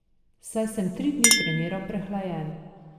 Saj sem tri dni treniral prehlajen.